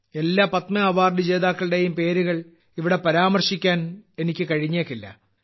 എല്ലാ പത്മ അവാർഡുജേതാക്കളുടെയും പേരുകൾ ഇവിടെ പരാമർശിക്കാൻ എനിക്ക് കഴിഞ്ഞേക്കില്ല